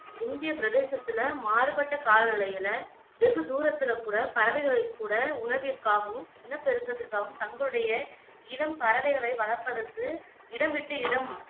இந்திய பிரதேசத்துல மாறுபட்ட காலநிலைகள்ல வெகுதூரத்துல கூட பறவைகளைக் கூட உணவிற்காகவும், இனப்பெருக்கத்திற்காகவும் தங்களுடைய இளம் பறவைகளை வளர்ப்பதற்கு இடம் விட்டு இடம்